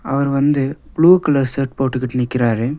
அவரு வந்து blue colour shirt போட்டுகிட்டு நிக்கிறாரு.